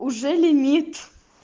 уже лимит